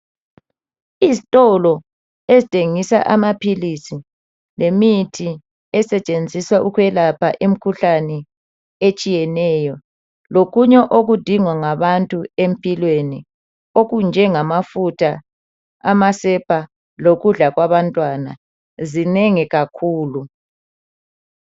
Izitolo ezithengisa amaphilisi lemithi esetshenziswa ukwelapha imikhuhlane etshiyeneyo lokunye okudingwa ngabantu empilweni okunjengamafutha, amasepa lokudla kwabantwana ,zinengi kakhulu.